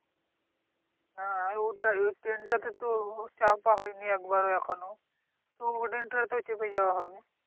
হ্যাঁ ওটাই ওই train টাতে তো চাপা হয়নি একবারও এখনো তো ওই train টাতে চেপে যাওয়া হবে।